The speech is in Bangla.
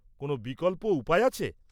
-কোনও বিকল্প উপায় আছে?